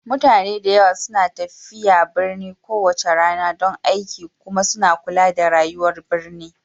Mutane da yawa suna tafiya birni kowace rana don aiki kuma suna kula da rayuwar birni